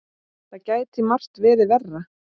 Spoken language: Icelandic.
Það gæti margt verið verra.